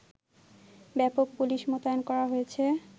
ব্যাপক পুলিশ মোতায়েন করা হয়েছে